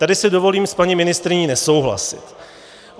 Tady si dovolím s paní ministryní nesouhlasit.